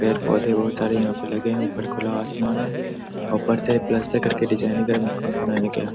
पेड़-पौधे बहुत सारे यहाँ पे लगे हैं ऊपर खुला आसमान है ऊपर से प्लस्टर कर के डिजाइनिंग में मकान बनाया गया।